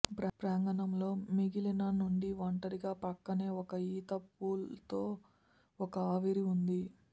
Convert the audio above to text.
ప్రాంగణంలో మిగిలిన నుండి ఒంటరిగా ప్రక్కనే ఒక ఈత పూల్ తో ఒక ఆవిరి ఉంది